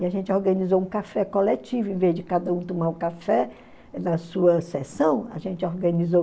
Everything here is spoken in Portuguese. E a gente organizou um café coletivo, invés de cada um tomar o café na sua sessão, a gente organizou.